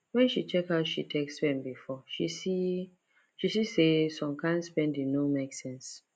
when she check how she take spend before she see she see say some kyn spending no make sense